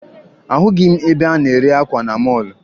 Ahụghị m ebe a na-ere akwa na mọọlụ